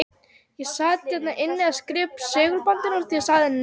Ég sat hér inni og var að skrifa upp af segulbandinu og sagði því nei.